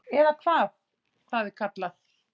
Eða hvað það er kallað.